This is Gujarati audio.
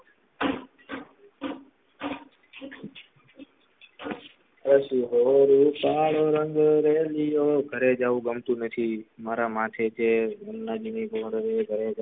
એસી હોરી કાળો રંગ રૅલીયો ઘરે જવું ગમતું નથી મારા માટે છે ઘરે